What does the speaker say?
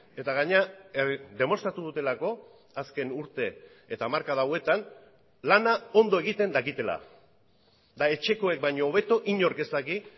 eta gainera demostratu dutelako azken urte eta hamarkada hauetan lana ondo egiten dakitela eta etxekoek baino hobeto inork ez daki